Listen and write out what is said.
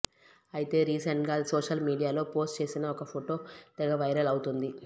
అయితే రీసెంట్ గా ఆది సోషల్ మీడియాలో పోస్ట్ చేసిన ఒక ఫొటో తెగ వైరల్ అవుతోంది